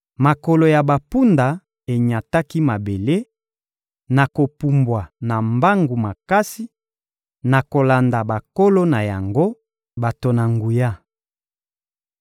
Makolo ya bampunda enyataki mabele, na kopumbwa na mbangu makasi, na kolanda bankolo na yango, bato na nguya.